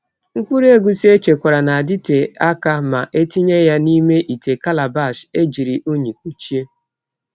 Mkpụrụ egusi echekwara na-adịte aka ma etinye ya n’ime ite calabash ejiri unyi kpuchie.